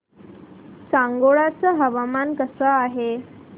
सांगोळा चं हवामान कसं आहे